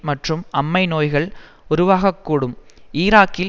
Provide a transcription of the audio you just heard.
மற்றும் அம்மை நோய்கள் உருவாகக்கூடும் ஈராக்கில்